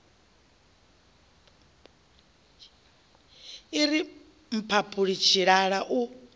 i ri mphaphuli tshilala u